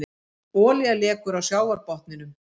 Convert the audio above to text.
Olía lekur á sjávarbotninum